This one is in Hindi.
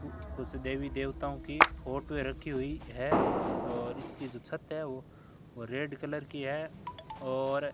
कुछ देवी देवताओं की फोटो रखी हुई है और इसकी जो छत है वो रेड कलर की है और --